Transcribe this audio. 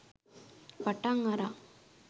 පටන් අරන්.